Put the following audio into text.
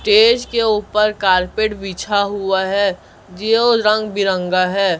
Stage के ऊपर carpet बिछा हुआ है जियो रंग बिरंगा है।